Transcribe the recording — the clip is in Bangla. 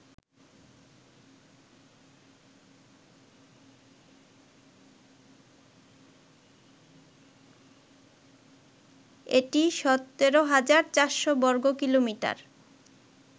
এটি ১৭৪০০ বর্গ কিলোমিটার